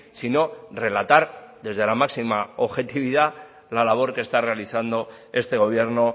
sino relatar desde la máxima objetividad la labor que está realizando este gobierno